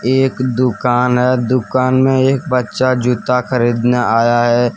एक दुकान है दुकान में एक बच्चा जूता खरीदने आया है।